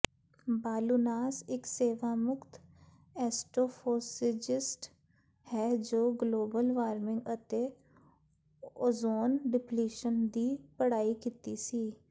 Baliunas ਇੱਕ ਸੇਵਾਮੁਕਤ astrophysicist ਹੈ ਜੋ ਗਲੋਬਲ ਵਾਰਮਿੰਗ ਅਤੇ ਓਜ਼ੋਨ ਡਿਪਲੀਸ਼ਨ ਦੀ ਪੜ੍ਹਾਈ ਕੀਤੀ ਸੀ